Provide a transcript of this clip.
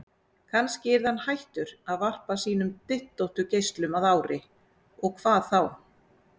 Kannski yrði hann hættur að varpa sínum dyntóttu geislum að ári, og hvað þá?